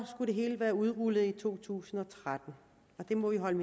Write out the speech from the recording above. det hele være udrullet i to tusind og tretten og det må vi holde